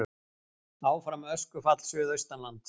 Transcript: Áfram öskufall suðaustanlands